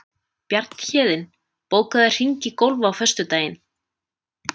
Bjarnhéðinn, bókaðu hring í golf á föstudaginn.